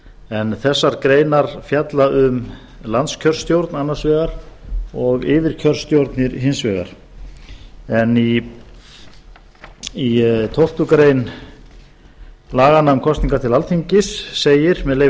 en þessar greinar fjalla um landskjörstjórn annars vegar og yfirkjörstjórnir hins vegar en í tólftu greinar laganna um kosningar til alþingis segir með leyfi